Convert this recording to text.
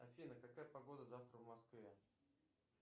афина какая погода завтра в москве